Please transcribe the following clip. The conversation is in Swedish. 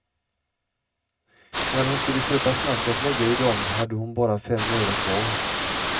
När hon skulle köpa snask att lägga i dom hade hon bara fem öre kvar.